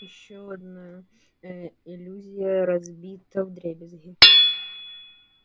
ещё одна э иллюзия разбита вдребезги